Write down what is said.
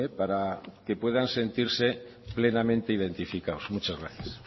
para que puedan sentirse plenamente identificados muchas gracias